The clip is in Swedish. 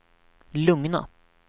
lugna